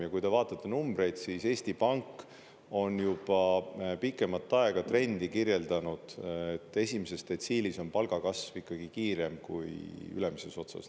Ja kui te vaatate numbreid, siis Eesti Pank on juba pikemat aega trendi kirjeldanud, et esimeses detsiilis on palgakasv ikkagi kiirem kui ülemises otsas.